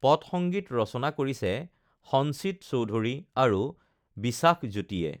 পটসংগীত ৰচনা কৰিছে সঞ্চিত চৌধুৰী আৰু বিষাখ জ্যোতিয়ে